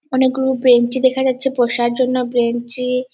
অনেকগুলো বেঞ্চি দেখা যাচ্ছে বসার জন্য বেঞি-ই --